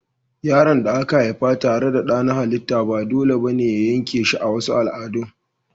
Yaron da aka haifa tare da dada na halitta ba dole ba ne a yanke shi a wasu al'ada.